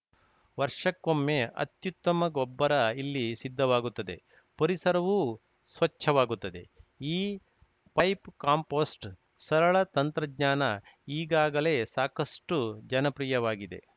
ವರ್ಷಕ್ಕೊಮ್ಮೆ ಅತ್ಯುತ್ತಮ ಗೊಬ್ಬರ ಇಲ್ಲಿ ಸಿದ್ದವಾಗುತ್ತದೆ ಪರಿಸರವೂ ಸ್ವಚ್ಚವಾಗುತ್ತದೆ ಈ ಪೈಪ್‌ ಕಾಂಪೋಸ್ಟ್‌ ಸರಳ ತಂತ್ರಜ್ಞಾನ ಈಗಾಗಲೇ ಸಾಕಷ್ಟುಜನಪ್ರಿಯವಾಗಿದೆ